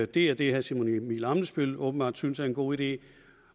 det er det herre simon emil ammitzbøll åbenbart synes er en god idé